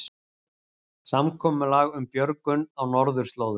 Samkomulag um björgun á norðurslóðum